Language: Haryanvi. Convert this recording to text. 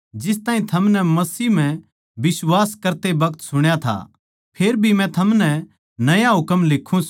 जो कोए अपणे बिश्वासी भाई तै प्यार करै सै वो चान्दणा म्ह रहवै सै अर उस म्ह इसा कुछ कोनी के दुसरयां नै पाप करवावै